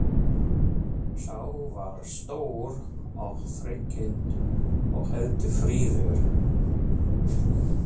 Sá var stór og þrekinn og heldur fríður.